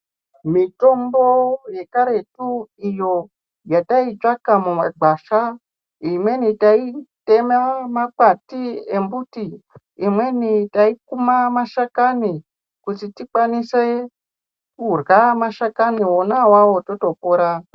Mutombo yekaretu iyo yatsitsvaka mumakwasha imweni taitema makwati embuti imweni taikuma mashakani kuti tikwanise kurya mashakani totokwanise kupora